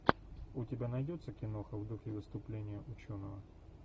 у тебя найдется киноха в духе выступления ученого